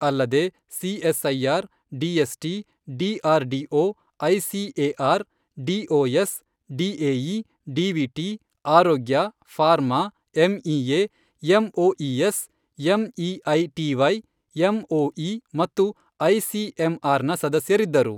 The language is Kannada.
ಅಲ್ಲದೆ CSIR, DST, DRDO, ICAR, DOS, DAE, ಡಿವಿಟಿ, ಆರೋಗ್ಯ, pharma, MEA, MoES, MeitY, MoE ಮತ್ತು ಐಸಿಎಂಆರ್ ನ ಸದಸ್ಯರಿದ್ದರು.